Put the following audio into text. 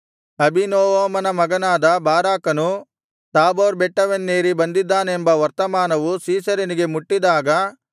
ಅಬೀನೋವಮನ ಮಗನಾದ ಬಾರಾಕನು ತಾಬೋರ್ ಬೆಟ್ಟವನ್ನೇರಿ ಬಂದಿದ್ದಾನೆಂಬ ವರ್ತಮಾನವು ಸೀಸೆರನಿಗೆ ಮುಟ್ಟಿದಾಗ